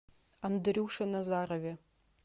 андрюше назарове